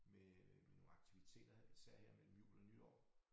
Med med nogle aktiviteter især her mellem jul og nytår